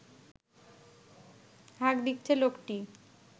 হাঁক দিচ্ছে লোকটি